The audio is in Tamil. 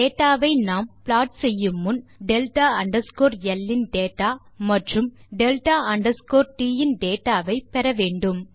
டேட்டா ஐ நாம் ப்ளாட் செய்யு முன் டெல்டா அண்டர்ஸ்கோர் ல் இன் டேட்டா மற்றும் டெல்டா அண்டர்ஸ்கோர் ட் இன் டேட்டா வை பெற வேண்டும்